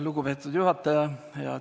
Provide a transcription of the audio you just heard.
Lugupeetud juhataja!